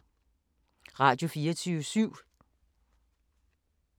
Radio24syv